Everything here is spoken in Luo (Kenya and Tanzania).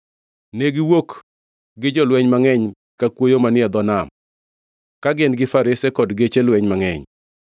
Ne giwuok gi jolweny mangʼeny ka kuoyo manie dho nam ka gin-gi farese kod geche lweny mangʼeny.